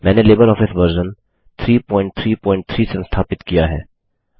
मैंने LibreOffice version 333 संस्थापित किया है